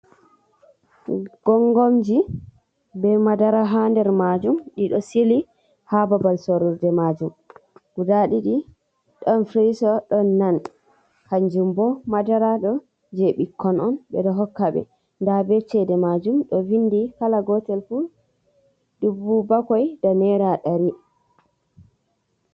Gongonji be madara ha nder majum ɗiɗo sili ha babal sorurɗe majum, guda ɗiɗi don frso ɗon nan kanjum bo madara ɗo je ɓikkon on ɓeɗo hokka be nda be chede majum ɗo vindi kala gotel fu dubu bakwai da naira ɗari.